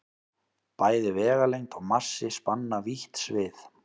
Bæði vegalengd og massi spanna vítt svið.